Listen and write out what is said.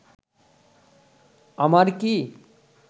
আমার কি